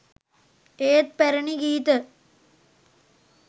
ඒත් පැරුණි ගීත